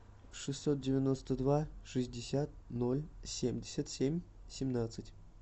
шестьсот девяносто два шестьдесят ноль семьдесят семь семнадцать